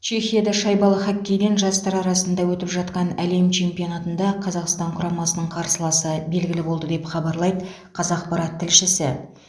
чехияда шайбалы хоккейден жастар арасында өтіп жатқан әлем чемпионатында қазақстан құрамасының қарсыласы белгілі болды деп хабарлайды қазақпарат тілшісі